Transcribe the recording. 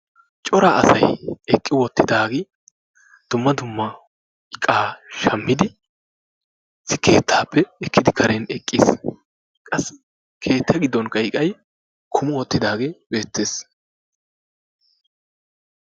Cora asay eqqi wottidaagee dumma dumma iqaa shammidi issi keettappe ekkidi karen eqqiis. Qassi keetta gidonkka iqqay kummi wottidaagee beettees.